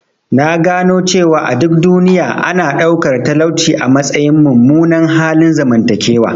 Na gano cewa a duk duniya, ana ɗaukar talauci a matsayin mummunan halin zamantakewa.